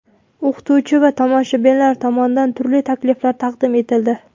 O‘qituvchi va tomoshabinlar tomonidan turli takliflar taqdim etildi.